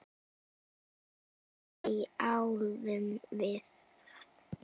Hvernig þjálfum við það?